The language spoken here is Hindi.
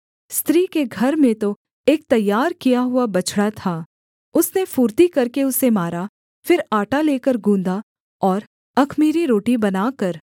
स्त्री के घर में तो एक तैयार किया हुआ बछड़ा था उसने फुर्ती करके उसे मारा फिर आटा लेकर गूँधा और अख़मीरी रोटी बनाकर